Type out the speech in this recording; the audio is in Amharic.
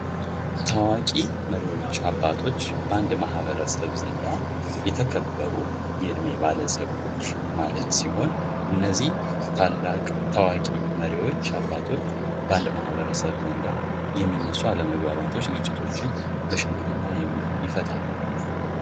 አፄ ምኒልክ ዳግማዊ : የኢትዮጵያ ንጉሠ ነገሥት ነበሩ። የዘመናዊቷ ኢትዮጵያ መሥራች ከሚባሉት አንዱ ሲሆኑ፣ የአገሪቱን አንድነት በማስከበር እና የአድዋን ታላቅ ጦርነት በማሸነፍ ይታወቃሉ። የአዲስ አበባ ከተማን የመሰረቱትም እሳቸው ናቸው።